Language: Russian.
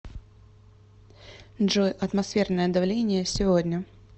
джой атмосферное давление сегодня